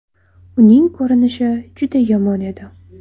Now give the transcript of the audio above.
Uning ko‘rinishi juda yomon edi.